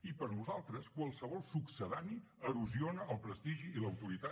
i per nosaltres qualsevol succedani erosiona el prestigi i l’autoritat